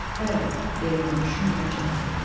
Bəli, deyə mən düşünmədən cavab verdim.